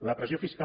la pressió fiscal